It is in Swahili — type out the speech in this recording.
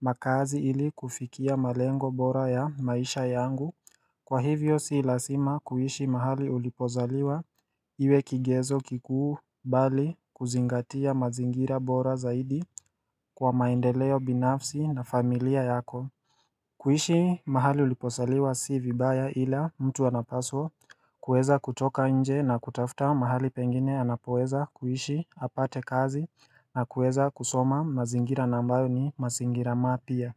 makazi ili kufikia malengo bora ya maisha yangu Kwa hivyo si lazima kuishi mahali ulipozaliwa iwe kigezo kikuu mbali kuzingatia mazingira bora zaidi kwa maendeleo binafsi na familia yako kuishi mahali ulipozaliwa si vibaya ila mtu anapaswa kueza kutoka nje na kutafuta mahali pengine anapoeza kuishi apate kazi na kueza kusoma mazingira na ambayo ni mazingira mapya.